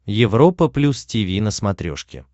европа плюс тиви на смотрешке